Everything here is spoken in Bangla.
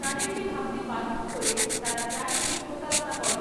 তাঁদেরকে ভাবতে বাধ্য করে তারা প্রায়শই প্রতারণা করে।